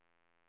ljuskontroll